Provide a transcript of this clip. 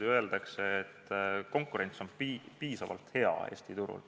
Ja öeldakse, et konkurents on Eesti turul piisavalt hea.